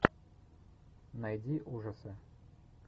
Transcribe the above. найди ужасы